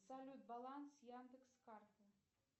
салют баланс яндекс карты